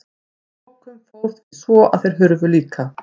Að lokum fór því svo að þeir hurfu líka.